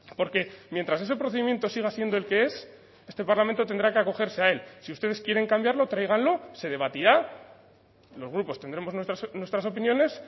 porque mientras ese procedimiento siga siendo el que es este parlamento tendrá que acogerse a él si ustedes quieren cambiarlo tráiganlo se debatirá los grupos tendremos nuestras opiniones